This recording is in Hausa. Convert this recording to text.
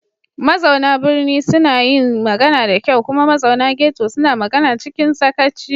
Mazauna birni suna yin magana da kyau kuma mazauna ghetto suna magana cikin sakaci.